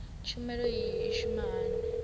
tshumelo iyi i shuma hani